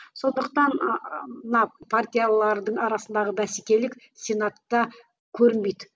сондықтан ыыы мына партиялардың арасындағы бәсекелік сенатта көрінбейді